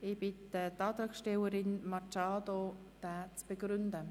Ich bitte die Antragstellerin, Simone Machado Rebmann, den Antrag zu begründen.